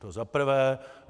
To za prvé.